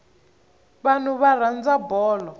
vanhu va rhandza bolo